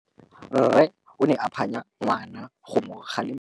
Rre o ne a phanya ngwana go mo galemela.